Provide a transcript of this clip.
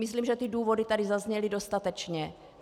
Myslím, že ty důvody tady zazněly dostatečně.